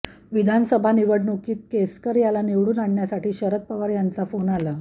विधानसभा निवडणुकीत केसरकर याला निवडून आणण्यासाठी शरद पवार यांचा फोन आला